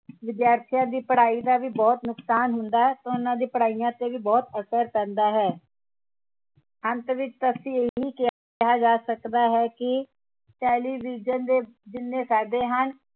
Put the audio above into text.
ਵਿਦਿਆਰਥੀਆਂ ਦੀ ਪੜ੍ਹਾਈ ਦਾ ਵੀ ਬਹੁਤ ਨੁਕਸਾਨ ਹੁੰਦਾ ਹੈ ਤਾਂ ਉਹਨਾਂ ਦੀ ਪੜ੍ਹਾਈਆਂ ਤੇ ਵੀ ਬਹੁਤ ਅਸਰ ਪੈਂਦਾ ਹੈ ਅੰਤ ਵਿਚ ਇਹੀ ਕਿਹਾ ਜਾ ਸਕਦਾ ਹੈ ਕਿ television ਦੇ ਜਿੰਨੇ ਫਾਇਦੇ ਹਨ